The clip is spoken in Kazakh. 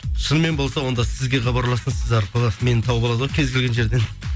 шынымен болса онда сізге хабарлассын сіз арқылы мені тауып алады ғой кез келген жерден